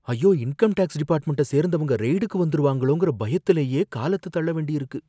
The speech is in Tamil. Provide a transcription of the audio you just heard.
ஐயோ! இன்கம்டேக்ஸ் டிபார்ட்மென்ட சேர்ந்தவங்க ரெய்டுக்கு வந்துருவாங்களோங்கற பயத்துலயே காலத்த தள்ள வேண்டியிருக்கு.